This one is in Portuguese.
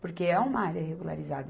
Porque é uma área regularizada.